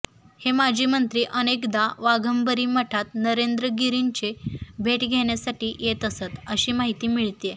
हे माजी मंत्री अनेकदा वाघंबरी मठात नरेंद्र गिरींची भेट घेण्यासाठी येत असतं अशी माहिती मिळतेय